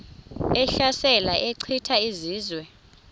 ehlasela echitha izizwe